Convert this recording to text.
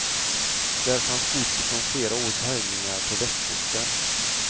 Där fanns gods från flera års härjningar på västkusten.